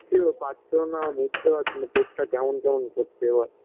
খিদে পাচ্ছেও না বুঝতে পারছি না পেটটা কেমন কেমন করছে এবার